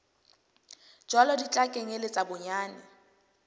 jwalo di tla kenyeletsa bonyane